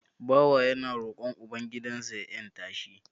Bawa yana roƙon uban gidan sa ya 'yanta shi